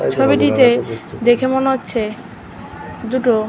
ছবিটিতে দেখে মনে হচ্ছে দুটো |